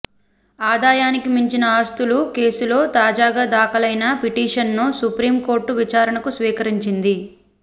ఆదాయానికి మించిన ఆస్తుల కేసులో తాజాగా దాఖలైన పిటిషన్ను సుప్రీం కోర్టు విచారణకు స్వీకరించింది